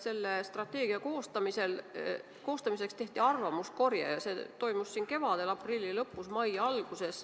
Selle strateegia koostamiseks tehti arvamuskorje ja see toimus siin kevadel: aprilli lõpus, mai alguses.